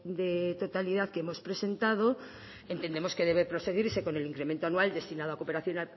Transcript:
de totalidad que hemos presentado entendemos que debe proseguirse con el incremento anual destinado a cooperación